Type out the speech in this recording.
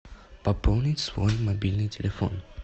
пополнить свой мобильный телефон